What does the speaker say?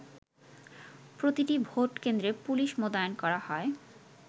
প্রতিটি ভোট কেন্দ্রে পুলিশ মোতায়েন করা হয়।